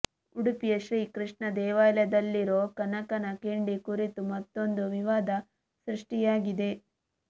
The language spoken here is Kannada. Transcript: ಉಡುಪಿಯ ಶ್ರೀ ಕೃಷ್ಣ ದೇವಾಲಯದಲ್ಲಿರೋ ಕನಕನ ಕಿಂಡಿ ಕುರಿತು ಮತ್ತೊಂದು ವಿವಾದ ಸೃಷ್ಟಿಯಾಗಿದೆ